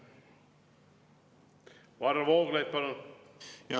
Varro Vooglaid, palun!